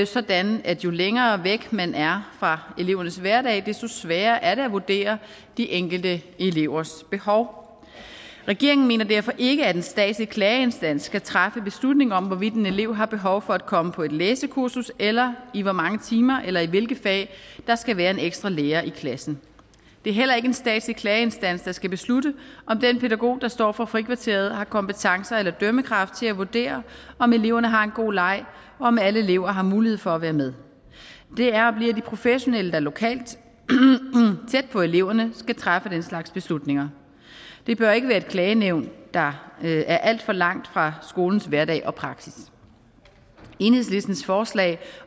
sådan at jo længere væk man er fra elevernes hverdag desto sværere er det at vurdere de enkelte elevers behov regeringen mener derfor ikke at en statslig klageinstans skal træffe beslutning om hvorvidt en elev har behov for at komme på et læsekursus eller i hvor mange timer eller i hvilke fag der skal være en ekstra lærer i klassen det er heller ikke en statslig klageinstans der skal beslutte om den pædagog der står for frikvarteret har kompetencer eller dømmekraft til at vurdere om eleverne har en god leg og om alle elever har mulighed for at være med det er og bliver de professionelle der lokalt og tæt på eleverne skal træffe den slags beslutninger det bør ikke være et klagenævn der er alt for langt fra skolens hverdag og praksis enhedslistens forslag